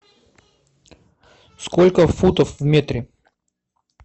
сколько футов в метре